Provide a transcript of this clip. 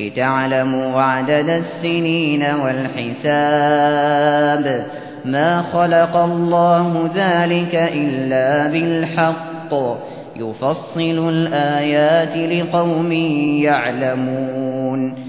لِتَعْلَمُوا عَدَدَ السِّنِينَ وَالْحِسَابَ ۚ مَا خَلَقَ اللَّهُ ذَٰلِكَ إِلَّا بِالْحَقِّ ۚ يُفَصِّلُ الْآيَاتِ لِقَوْمٍ يَعْلَمُونَ